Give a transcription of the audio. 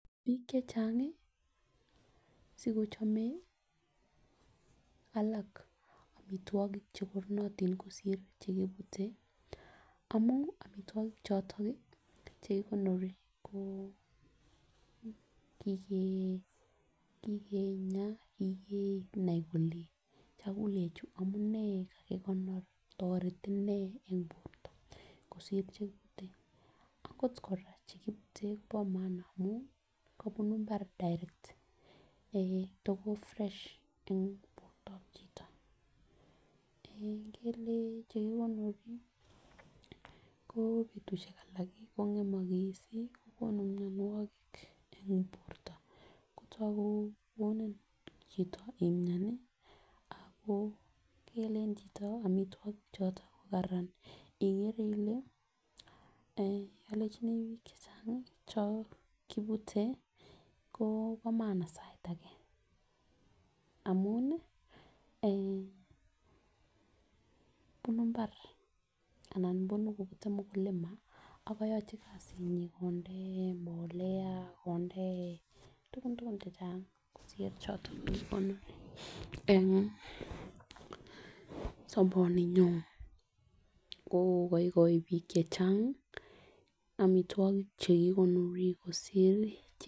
Bik chechang sikochome alak omitwokik chekonorotin kosir chekibute amun omitwokik choton nii chekikonor ko kikeenya kikenai kole chakulechu amunee sikekonor toreti nee en borto kosir chekibute. Ako koraa chekibute bo maana amun kobunu imbar direct eh toko fresh en bortab chito en Ingele chekikonor ko betushek alak kongemokos kokonu mionwokik en borto kotoku kokonu chito imiani Ako kealen choto omitwokik choton ko Karan ikere ile olenchini bik chechangi chon minute ko no maana sai age amino eh nunu imbar ana nunu kobuye mukulima ak koyochi kasinyin konde mbolea konde tukun tukun chechang kosir chon kokonu en soboninyon ko koigoi bik chechangi omitwokik chekikonori kosir.